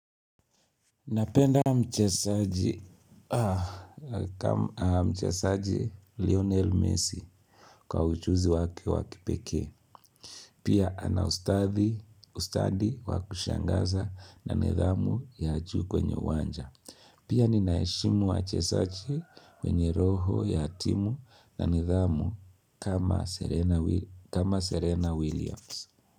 Napenda mchezaji Lionel Messi kwa ujuzi wake wakipekee Pia ana ustadi wakushangaza na nidhamu ya juu kwenye uwanja Pia ninaheshimu wachezaji wenye roho ya timu na nidhamu kama Serena Williams.